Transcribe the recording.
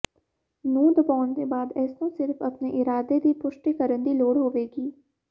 ਨੂੰ ਦਬਾਉਣ ਦੇ ਬਾਅਦ ਇਸ ਨੂੰ ਸਿਰਫ਼ ਆਪਣੇ ਇਰਾਦੇ ਦੀ ਪੁਸ਼ਟੀ ਕਰਨ ਦੀ ਲੋੜ ਹੋਵੇਗੀ